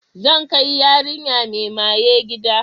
Zan kai yarinya mai maye gida.